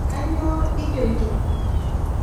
Kanyioo ijoito?